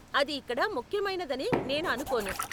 అది ఇక్కడ ముఖ్యమైనదని నేను అనుకోను.